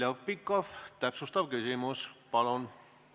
Heljo Pikhof, täpsustav küsimus, palun!